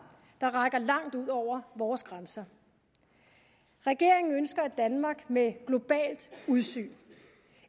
der rækker langt ud over vores grænser regeringen ønsker et danmark med globalt udsyn